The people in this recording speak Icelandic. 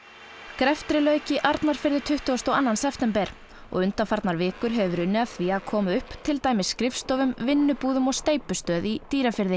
greftri lauk í Arnarfirði tuttugasta og annan september og undanfarnar vikur hefur verið unnið að því að koma upp til dæmis skrifstofum vinnubúðum og steypustöð í Dýrafirði